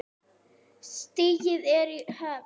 Stigið er í höfn!